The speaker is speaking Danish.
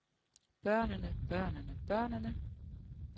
børnene børnene børnene